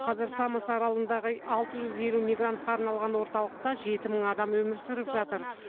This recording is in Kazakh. қазір самос аралындағы алты жүз елу мигрантқа арналған орталықта жеті мың адам өмір сүріп жатыр